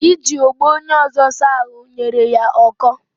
Iji ogbo onye ọzọ saa ahụ nyere ya ọkọ